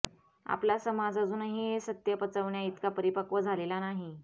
आपला समाज अजूनही हे सत्य पचवण्याइतका परिपक्व झालेला नाही